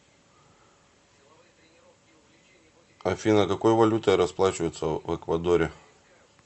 афина какой валютой расплачиваются в эквадоре